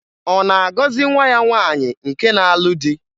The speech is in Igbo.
Ọ na-agọzị nwa ya nwaanyị nke na-alụ di?